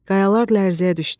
Qayalar lərzəyə düşdü.